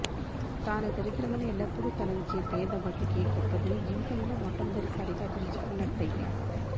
తాను దరిద్రమని ఎల్లప్పుడూ తలంచే పేదబతుకే గొప్పదని జీవితంలో మొట్టమొదటిసారిగా తెలుసుకున్నట్టయ్యాడు